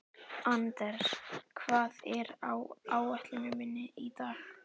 Anders, hvað er á áætluninni minni í dag?